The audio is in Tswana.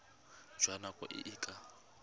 jwa nako e e ka